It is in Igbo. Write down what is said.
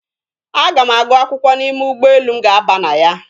Aga m agụ akwụkwọ n'ime ụgbọelu m ga-aba na ya.